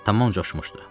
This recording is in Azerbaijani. Tamam coşmuşdu.